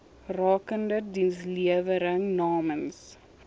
rakende dienslewering namens